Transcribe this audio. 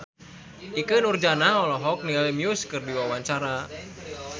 Ikke Nurjanah olohok ningali Muse keur diwawancara